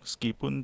meskipun